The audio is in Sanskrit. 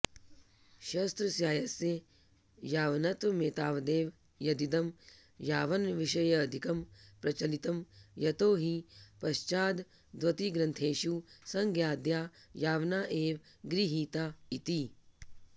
शास्त्रस्यास्य यावनत्वमेतावदेव यदिदं यावनविषयेऽधिकं प्रचलितं यतो हि पश्चाद्वतिग्रन्थेषु संज्ञाद्या यावना एव गृहीता इति